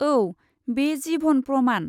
औ, बे जिभन प्रमान।